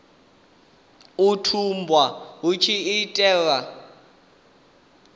u tumbulwa hu tshi itelwa